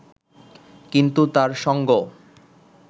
কিন্তু তাঁর সঙ্গ